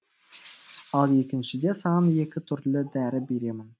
ал екіншіде саған екі түрлі дәрі беремін